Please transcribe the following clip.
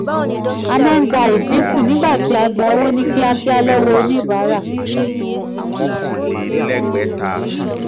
a maa gba edinku nigba ti a gba owo ni kiakia lati onibara.